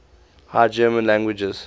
high german languages